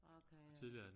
Okay øh